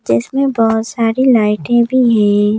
जिसमें बहुत सारी लाइटें भी हैं।